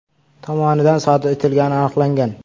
tomonidan sodir etilgani aniqlangan.